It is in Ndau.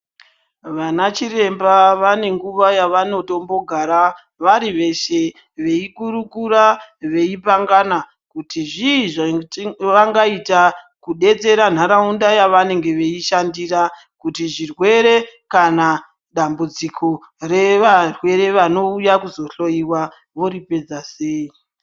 Vana chiremba vanenguva yavanotombogara varivese, beyikurukura beyipangana kuti zvii zvavangaita kudetsera ntaraunda yavanengebeyishandira kuti zvirwere kana dambudziko revarwere vanowuya kuzohloriwa voripedza seyi.